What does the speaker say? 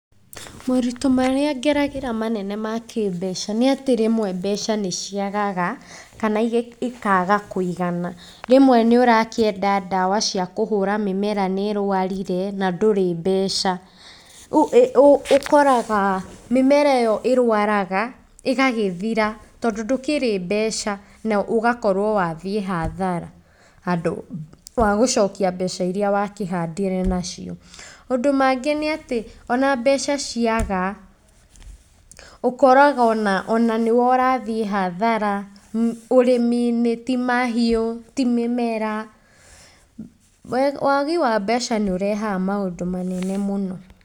Maũritũ marĩa ngeragĩra manene ma kĩmbeca nĩ atĩ rĩmwe mbeca nĩ ciagaga kana ikaaga kũigana. Rĩmwe nĩ ũrakĩenda ndawa ciakũhũra mĩmera nĩ ĩrũarire, na ndũrĩ mbeca. Rĩu ũkoraga mĩmera ĩyo ĩrũaraga ĩgagĩthira, tondũ ndũkĩrĩ mbeca, na ũgakorwo wathiĩ hathara handũ wa gũcokia mbeca iria wakĩhandire nacio. Maũndũ mangĩ nĩ atĩ o na mbeca ciaga, ũkoraga o na nĩ we ũrathiĩ hathara ũrĩmi-inĩ, ti mahiũ, ti mĩmera, wagi wa mbeca nĩ ũrehaga maũndũ manene mũno.